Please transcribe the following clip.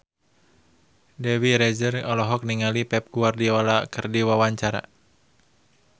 Dewi Rezer olohok ningali Pep Guardiola keur diwawancara